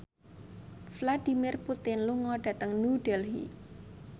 Vladimir Putin lunga dhateng New Delhi